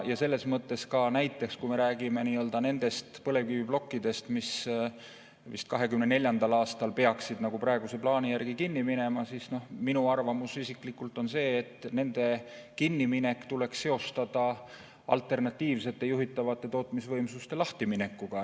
Selles mõttes, kui me räägime nendest põlevkiviplokkidest, mis 2024. aastal peaksid praeguse plaani järgi kinni minema, siis minu isiklik arvamus on see, et nende kinniminek tuleks seostada alternatiivsete juhitavate tootmisvõimsuste lahtiminekuga.